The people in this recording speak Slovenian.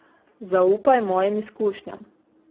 Zaupaj mojim izkušnjam.